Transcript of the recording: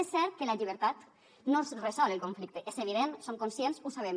és cert que la llibertat no resol el conflicte és evident som conscients ho sabem